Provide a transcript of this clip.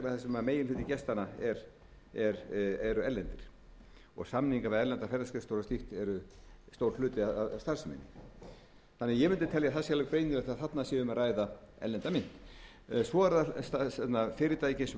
sem meginhluti gestanna eru erlendir og samningar við erlendar ferðaskrifstofur og slíkt eru stór hluti af starfseminni ég mundi telja að það sé alveg greinilegt að þarna sé um að ræða erlenda mynt svo eru það fyrirtæki eins og